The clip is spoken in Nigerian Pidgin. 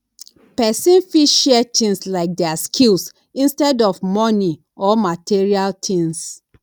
person fit share things like their skills instead of money or material things